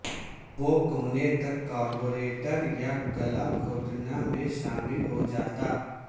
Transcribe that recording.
وہ کونے تک کاربوریٹر یا گلا گھونٹنا میں شامل ہو جاتا